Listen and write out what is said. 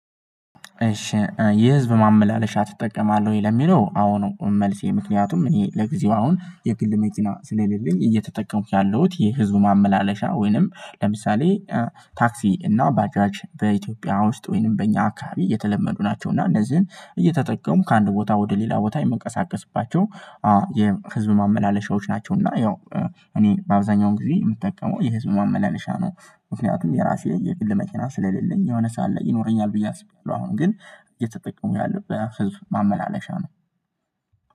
"እሺ የህዝብ ማመላለሻ ትጠቀማለህ ወይ?" ለሚለው፤ አዎ ነው መልሴ። ምክንያቱም እኔ ለጊዜው አሁን የግል መኪና ስለሌለኝ እየተጠቀምኩ ያለውት የህዝብ ማመላለሻ፤ ወይንም ለምሳሌ ታክሲ እና ባጃጅ በኢትዮጵያ ውስጥ ወይንም በእኛ አካባቢ የተለመዱ ናቸው። እና እነዚህን እየተጠቀምኩ ከአንድ ቦታ ወደ ሌላ ቦታ የምንቀሳቀስባቸው የህዝብ ማመላለሻዎች ናቸው። እና ያው እኔ በአብዛኛው ጊዜ የምጠቀመው የህዝብ ማመላለሻ ነው። ምክንያቱም የራሴ የግል መኪና ስለሌለኝ የሆነ ሰዓት ላይ ይኖረኛል ብዬ አስቤያለሁ፤ አሁን ግን እየተጠቀምኩ ያለሁት በህዝብ ማመላለሻ ነው።